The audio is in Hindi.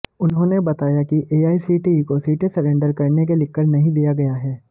उन्होंने बताया कि एआईसीटीई को सीटें सरेंडर करने के लिखकर नहीं दिया गया है